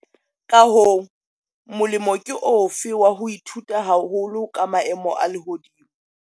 Ka hoo, molemo ke ofe wa ho ithuta haholo ka maemo a lehodimo?